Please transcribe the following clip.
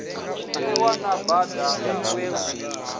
ṱuwa na bada we lu